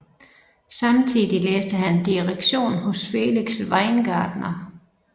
Samtidig læste han direktion hos Felix Weingartner